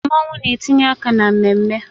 Mmanwu na-etinye aka na mmemme